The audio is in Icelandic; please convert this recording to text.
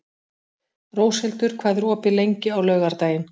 Róshildur, hvað er opið lengi á laugardaginn?